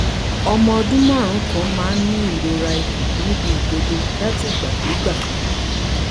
ọmọ ọdún márùn-ún kan máa ń ní ìrora ikùn ní ibi ìdodo látìgbàdégbà?